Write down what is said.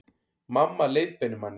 Mamma leiðbeinir manni